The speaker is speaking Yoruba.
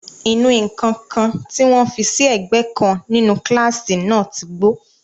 Ìnù-ǹkan kan tí wọn fi sí ẹ̀gbẹ́ kan nínú kílásì náà ti gbó.